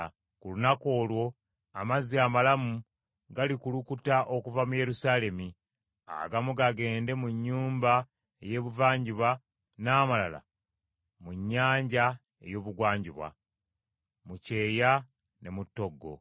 Ku lunaku olwo amazzi amalamu galikulukuta okuva mu Yerusaalemi; agamu gagende mu nnyanja ey’Ebuvanjuba n’amalala mu nnyanja ey’Ebugwanjuba; mu kyeya ne mu ttoggo.